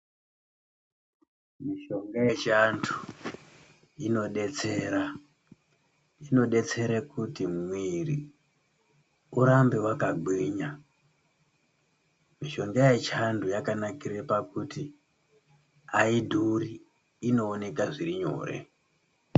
Mishonga yechiantu inodetsera, inodetsere kuti mwiri urambe wakagwinya. Mishonga yechiantu yakanakire pakuti haidhuri, inooneka zviri nyore.